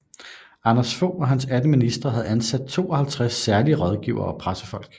Anders Fogh og hans 18 ministre havde ansat 52 særlige rådgivere og pressefolk